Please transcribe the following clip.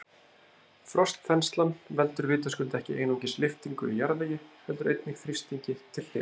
Frostþenslan veldur vitaskuld ekki einungis lyftingu í jarðvegi heldur einnig þrýstingi til hliðanna.